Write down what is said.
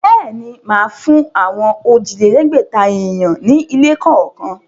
Bẹ́ẹ̀ ni, màá fún àwọn òjìlẹ́lẹ̀ẹ́gbẹ̀ta èèyàn ní ilé kọ̀ọ̀kan.